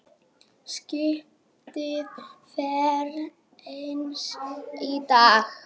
Skipið fer seinna í dag.